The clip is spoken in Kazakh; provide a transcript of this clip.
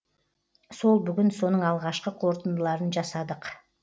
сол бүгін соның алғашқы қорытындыларын жасадық